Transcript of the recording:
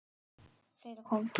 Fleira kom til.